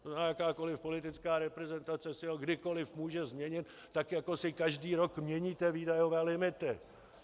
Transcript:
To znamená, jakákoliv politická reprezentace si ho kdykoliv může změnit, tak jako si každý rok měníte výdajové limity.